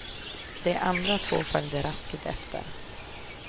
De andra två följde raskt efter.